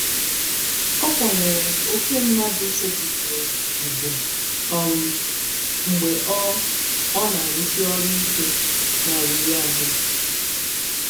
ọ kwanyere oke mmadụ setịpụrụ ugwu um mgbe ọ ọ na-arụsi ọrụ ike na riri ahụ.